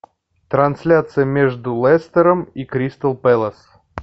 трансляция между лестером и кристал пэлас